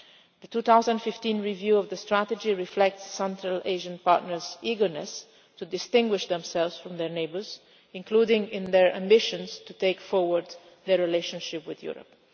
The 2015 review of the strategy reflects some Asian partners' eagerness to distinguish themselves from their neighbours, including in their ambitions to take forward their relationship with Europe.